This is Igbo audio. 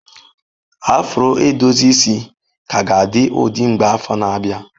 Afro edozi isi ka ga-adị ụdị mgbe afọ na-abịa.